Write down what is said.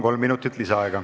Kolm minutit lisaaega.